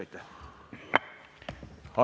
Aitäh!